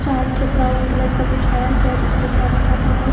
चार ठे brown colour का बिछाया हुआ है जिसपे खाना खाते हैं लोग।